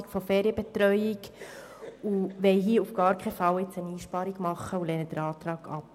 Wir wollen diesbezüglich heute auf keinen Fall eine Einsparung beschliessen und lehnen den Antrag ab.